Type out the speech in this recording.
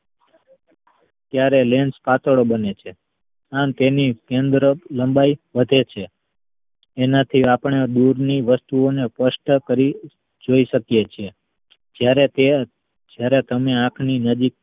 ત્યારે lens પાતળો બને છે અને તેની કેન્દ્ર લંબાઈ વધે છે તેનાથી આપડે દૂધ ની વસ્તુઓને સ્પષ્ટ કરી જોઈ શકીયે છીએ જયારે તે જયારે તમે આંખ ની નજીક